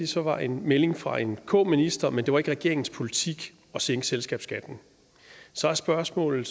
så var en melding fra en k minister men det var regeringens politik at sænke selskabsskatten så er spørgsmålet